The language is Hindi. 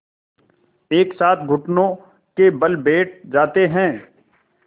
एक साथ घुटनों के बल बैठ जाते हैं